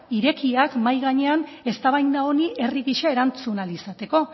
irekiak mahai gainean eztabaida honi herri gisa erantzun ahal izateko